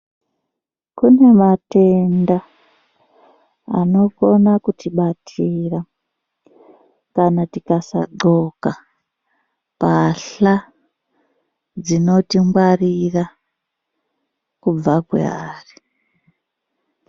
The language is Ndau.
Kune matenda anokona kutibatira kana tikasagxoka mbahla dzinotingwarira kubva kwaari.